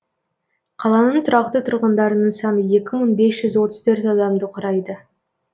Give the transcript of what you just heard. қаланың тұрақты тұрғындарының саны екі мың бес жүз отыз төрт адамды құрайды